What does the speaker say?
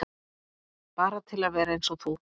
Bara til að vera eins og þú.